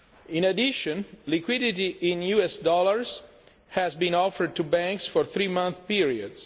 In addition, liquidity in US dollars has been offered to banks for three month periods.